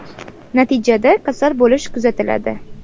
Natijada kasal bo‘lish kuzatiladi.